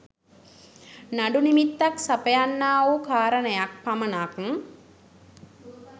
නඩු නිමිත්තක් සපයන්නාවූ කාරණයක් පමණක්